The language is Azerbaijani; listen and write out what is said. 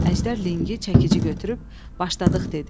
Əjdər linqi, çəkici götürüb "başladıq" dedi.